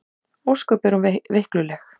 Ósköp er hún veikluleg.